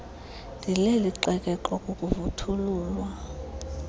ndileli xekexwa kukuvuthululwa